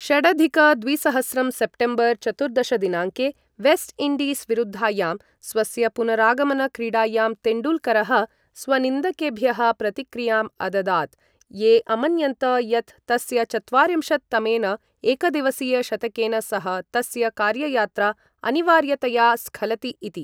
षडधिक द्विसहस्रं सेप्टेम्बर् चतुर्दश दिनाङ्के, वेस्ट् इण्डीस् विरुद्धायां स्वस्य पुनरागमन क्रीडायां तेण्डूल्करः स्वनिन्दकेभ्यः प्रतिक्रियाम् अददात्, ये अमन्यन्त यत् तस्य चत्वारिंशत् तमेन एकदिवसीय शतकेन सह तस्य कार्ययात्रा अनिवार्यतया स्खलति इति।